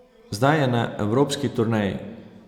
Zdaj je na evropski turneji.